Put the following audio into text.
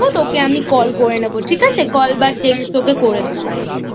তোকে আমি Call করে নেবো ঠিক আছে? Call বা Text তোকে আমি করে নেব।